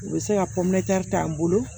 U bɛ se ka k'an bolo